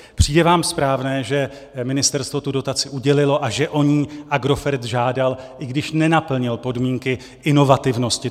Přijde vám správné, že ministerstvo tu dotaci udělilo a že o ni Agrofert žádal, i když nenaplnil podmínky inovativnosti?